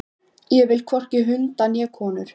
Ég vil hvorki hunda né konur.